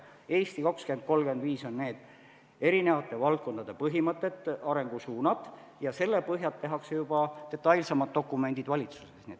"Eesti 2035" on eri valdkondade põhimõtted ja arengusuunad ning selle põhjal tehakse juba detailsemad dokumendid valitsuses.